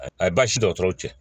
Ayi baasi dɔgɔtɔrɔ cɛ